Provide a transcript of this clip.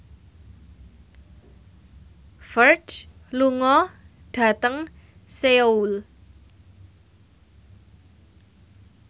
Ferdge lunga dhateng Seoul